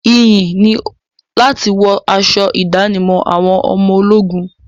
Iyì ni láti wọ aṣọ ìdánimọ̀ àwọn ọmọ ológun.